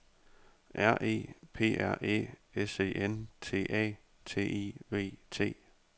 R E P R Æ S E N T A T I V T